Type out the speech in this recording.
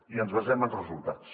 i ens basem en resultats